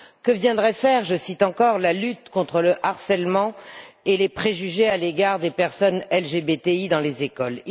Que viendrait y faire je cite encore la lutte contre le harcèlement et les préjugés à l'égard des personnes LGBTI dans les écoles?